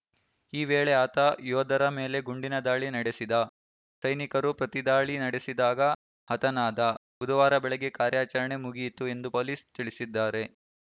ಈ ವೇಳೆ ಆತ ಯೋಧರ ಮೇಲೆ ಗುಂಡಿನ ದಾಳಿ ನಡೆಸಿದ ಸೈನಿಕರು ಪ್ರತಿದಾಳಿ ನಡೆಸಿದಾಗ ಹತನಾದ ಬುಧವಾರ ಬೆಳಗ್ಗೆ ಕಾರ್ಯಾಚರಣೆ ಮುಗಿಯಿತು ಎಂದು ಪೊಲೀಸ್ ತಿಳಿಸಿದ್ದಾರೆ